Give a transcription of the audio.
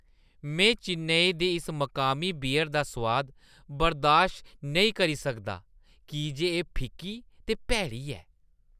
में चेन्नई दी इस मकामी बियर दा सोआद बर्दाश्त नेईं करी सकदा की जे एह् फिक्की ते भैड़ी ऐ।